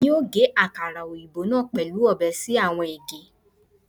Emi o ge akara oyinbo naa pẹlu ọbẹ si awọn ege